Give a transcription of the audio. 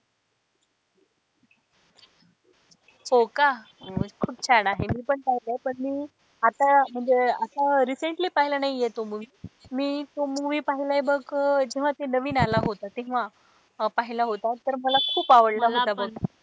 हो का खूप छान आहे मी पण पाहिलाय पण मी आता म्हणजे असं recently पाहिला नाहीए तो movie मी तो movie पाहिलाय बघ जेव्हा तो नवीन आला होता तेव्हा पहिला होता तर मला खूप आवडला होता.